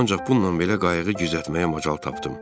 Ancaq bununla belə qayığı gizlətməyə macal tapdım.